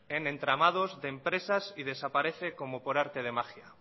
en entramados de empresas y desaparece como por arte de magia